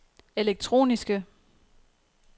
elektroniske